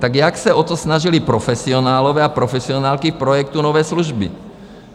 Tak jak se o to snažili profesionálové a profesionálky v projektu Nové služby.